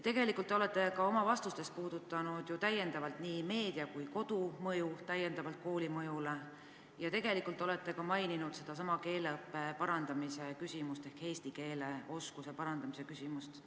Tegelikult te olete ju ka oma vastustes puudutanud nii meedia kui ka kodu mõju ning maininud ka sedasama keeleõppe parandamise ehk eesti keele oskuse parandamise küsimust.